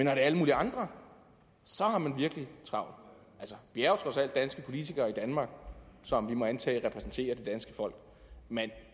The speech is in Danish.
er alle mulige andre har man virkelig travlt altså vi er jo trods alt danske politikere i danmark som vi må antage repræsenterer det danske folk men